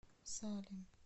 салем